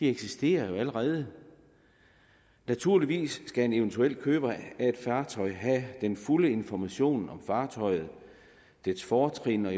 eksisterer jo allerede naturligvis skal en eventuel køber af et fartøj have den fulde information om fartøjet og dets fortrin og